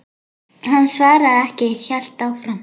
Hann svaraði ekki, hélt áfram.